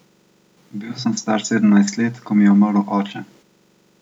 Bil sem star sedemnajst let, ko mi je umrl oče.